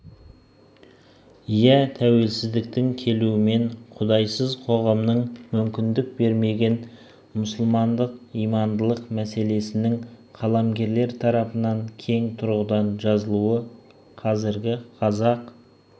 иә тәуелсіздіктің келуімен құдайсыз қоғамның мүмкіндік бермеген мұсылмандық имандылық мәселесінің қаламгерлер тарпынан кең тұрғыдан жазылуы қазіргі қазақ